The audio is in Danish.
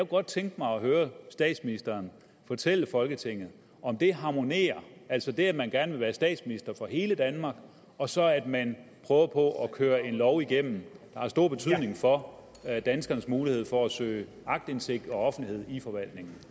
godt tænke mig at høre statsministeren fortælle folketinget om det harmonerer altså det at man gerne vil være statsminister for hele danmark og så at man prøver på at køre en lov igennem der har stor betydning for danskernes mulighed for at søge aktindsigt og offentlighed i forvaltningen